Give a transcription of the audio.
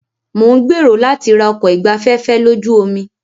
Mo ń gbèrò láti ra ọkọ̀ ìgbafẹ́fẹ́ lójú omi.